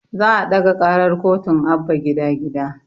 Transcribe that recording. Za a ɗaga karar kotun abba gida gida